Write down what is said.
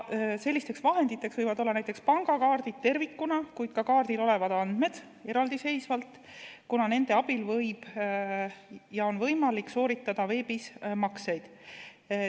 Sellisteks vahenditeks võivad olla näiteks pangakaardid tervikuna, kuid ka kaardil olevad andmed eraldiseisvalt, kuna nende abil on võimalik sooritada veebis makseid.